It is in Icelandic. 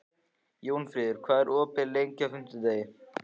Jónfríður, hvað er opið lengi á fimmtudaginn?